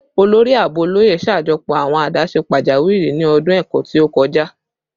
Olori Aabo Oloye ṣajọpọ awọn adaṣe pajawiri ni ọdun ẹkọ ti o kọja